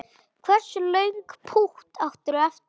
Hversu löng pútt áttirðu eftir?